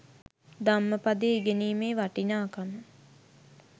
ධම්මපදය ඉගෙනීමේ වටිනාකම